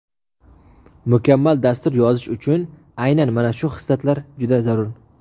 Mukammal dastur yozish uchun aynan mana shu xislatlar juda zarur.